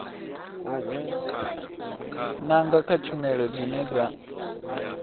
nanga kha tshumelo dzine dza